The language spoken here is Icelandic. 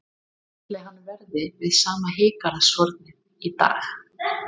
Ætli hann verði við sama heygarðshornið í dag?